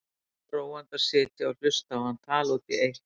Svo róandi að sitja og hlusta á hann tala út í eitt.